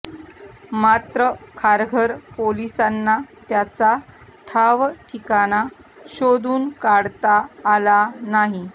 मात्र खारघर पोलिसांना त्याचा ठाव ठिकाणा शोधून काढता आला नाही